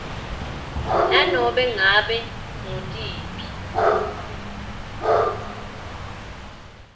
nanobe ngabe ngutiphi